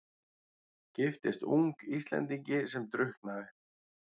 Giftist ung Íslendingi sem drukknaði.